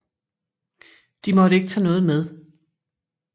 De måtte ikke tage noget med